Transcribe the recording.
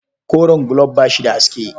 Koren gulob ba shi da haske.